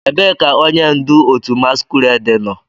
Ebee ka onye ndu otu masquerade nọ?